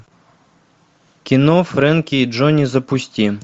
кино фрэнки и джонни запусти